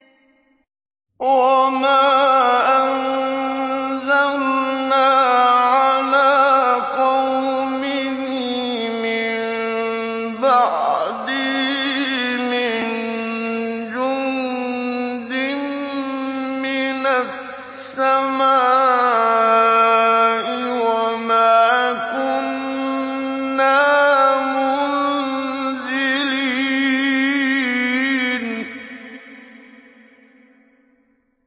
۞ وَمَا أَنزَلْنَا عَلَىٰ قَوْمِهِ مِن بَعْدِهِ مِن جُندٍ مِّنَ السَّمَاءِ وَمَا كُنَّا مُنزِلِينَ